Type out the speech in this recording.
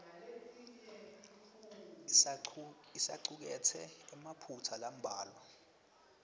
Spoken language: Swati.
isacuketse emaphutsa lambalwa